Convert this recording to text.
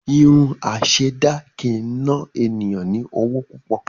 Irun asèdá kii n na eniyan ni owo púpọ̀.